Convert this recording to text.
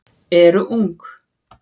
eru ung.